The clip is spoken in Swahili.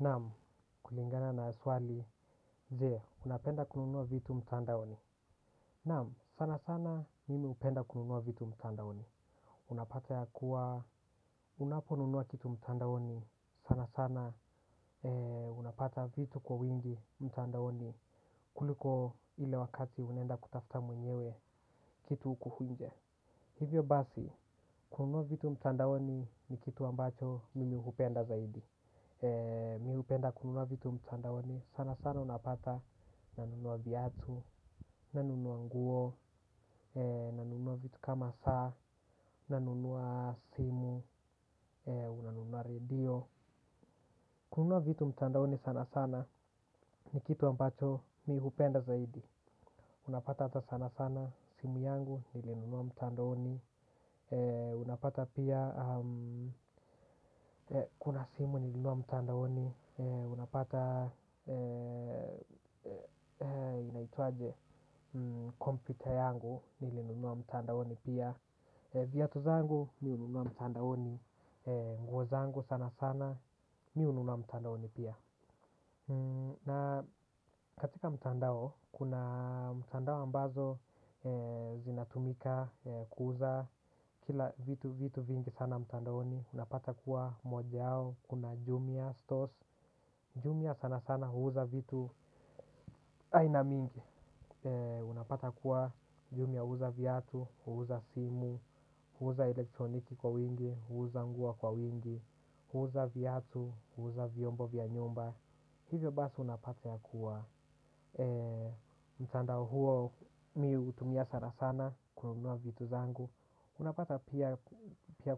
Naam, kulingana na swali, je, unapenda kununua vitu mtandaoni. Naam, sana sana mimi hupenda kununua vitu mtandaoni. Unapata ya kuwa, unapo nunua kitu mtandaoni, sana sana, unapata vitu kwa wingi mtandaoni kuliko ile wakati unaenda kutafta mwenyewe kitu hukunje. Hivyo basi, kununua vitu mtandaoni ni kitu ambacho mimi hupenda zaidi. Mi hupenda kununua vitu mtandaoni sana sana unapata. Nanunua viatu, nanunua nguo, nanunua vitu kama saa, nanunua simu, unanunua radio. Kununua vitu mtandaoni sana sana ni kitu ambacho mi hupenda zaidi. Unapata ata sana sana simu yangu nilinunua mtandaoni. Unapata pia kuna simu nilinunua mtandaoni. Unapata inaitwaje computer yangu. Nilinunua mtandaoni pia. Viatu zangu mi hununua mtandaoni. Nguo zangu sana sana. Mi hununua mtandaoni pia na katika mtandao kuna mtandao ambazo zinatumika. Kuuza kila vitu vitu vingi sana mtandaoni. Unapata kuwa moja yao. Kuna jumia stores Jumia sana sana huuza vitu aina mingi. Unapata kuwa jumia huuza viatu, huuza simu, huuza elektroniki kwa wingi, huuza nguo kwa wingi. Huuza viatu, huuza vyombo vya nyumba. Hivyo basi unapata ya kuwa mtandao huo mi hutumia sana sana kununua vitu zangu. Unapata pia